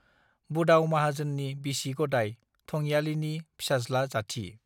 बुदाव माहाजोननि बिसि गदाइ थंयालिनि फिसाज् ला जाथि